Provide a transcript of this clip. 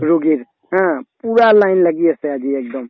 ৰুগীৰ ha পুৰা line লাগি আছে আজি একদম